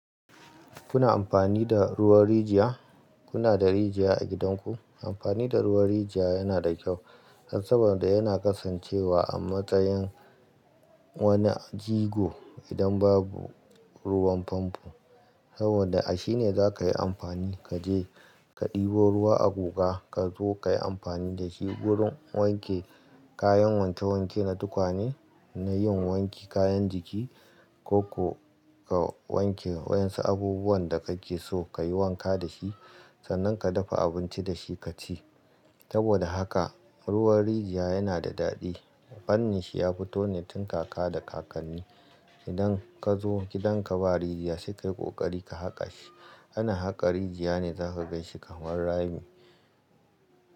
Kuna amfani da ruwan rijiya? Kuna da rijiya a gidanku? Amfani da ruwan rijiya yana da kyau, saboda yana kasancewa a matsayin wani jigo idan babu ruwan famfo. Saboda a shi ne za ka yi amfani ka je ka ɗebo ruwa a guga ka zo ka yi amfani da shi wurin wanke kayan wanke-wanke na tukwane, na yin wanke kayan jiki, ko ka wanke waɗansu abubuwan da kake so kayi wanka da shi. Sannan ka dafa abinci da shi ka ci. Saboda haka ruwan rijiya yana da daɗi. Fannin shi ya fito ne tun kaka da kakanni. Idan ka zo gidan ka ba rijiya, sai ka yi ƙoƙari ka haƙa shi. Ana haka rijiya ne za ka gan shi kamar rami.